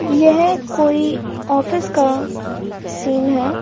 यह कोई ऑफिस का सीन है ।